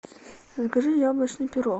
закажи яблочный пирог